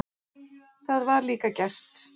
Það var líka gert.